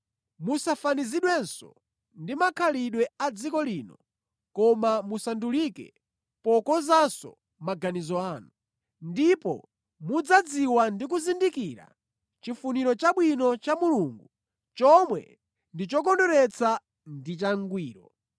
Musafanizidwenso ndi makhalidwe a dziko lino koma musandulike pokonzanso maganizo anu. Ndipo mudzadziwa ndi kuzindikira chifuniro chabwino cha Mulungu chomwe ndi chokondweretsa ndi changwiro.